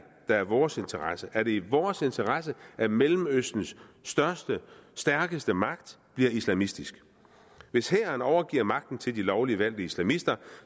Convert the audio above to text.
er i vores interesse er det i vores interesse at mellemøstens største og stærkeste magt bliver islamistisk hvis hæren overgiver magten til de lovligt valgte islamister